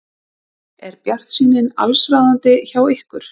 Er bjartsýnin allsráðandi hjá ykkur?